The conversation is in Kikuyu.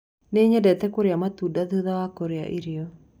Niĩ nyendete kũrĩa matunda thutha wa kũria irio.